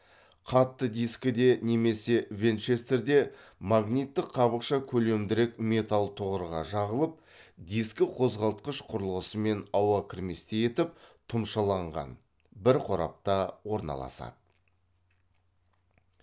қатты дискіде немесе винчестерде магниттік қабықша көлемдірек металл тұғырға жағылып дискіқозғалтқыш құрылғысымен ауа кірместей етіп тұмшаланған бір қорапта орналасады